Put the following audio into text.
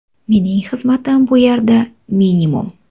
Mening xizmatim bu yerda minimum.